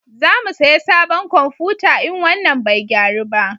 Za mu saya sabon komfuta in wannan bai gyaru ba